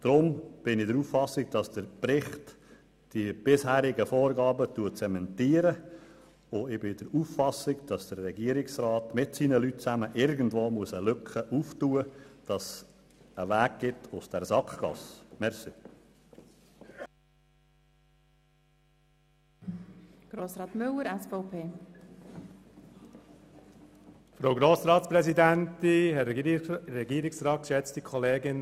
Deswegen bin ich der Auffassung, dass der Bericht die bisherigen Vorgaben zementiert, und ich bin der Auffassung, dass der Regierungsrat zusammen mit seinen Leuten eine Lücke öffnen muss, um einen Weg aus dieser Sackgasse aufzuzeigen.